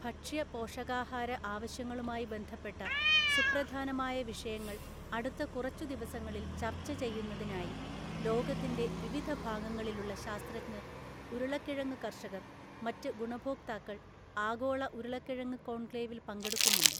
ഭക്ഷ്യ പോഷകാഹാര ആവശ്യങ്ങളുമായി ബന്ധപ്പെട്ട സുപ്രധാനമായവിഷയങ്ങള്‍ അടുത്ത കുറച്ചുദിവസങ്ങളില്‍ ചർച്ച ചെയ്യുന്നതിനായി ലോകത്തിന്‍റെ വിവിധ ഭാഗങ്ങളിലുള്ള ശാസ്ത്രജ്ഞര്‍, ഉരുളക്കിഴങ്ങു കര്‍ഷകര്‍, മറ്റ് ഗുണഭോക്താക്കള്‍ ആഗോള ഉരുളക്കിഴങ്ങു കോണ്‍ക്ലേവില്‍ പങ്കെടുക്കുന്നുണ്ട്.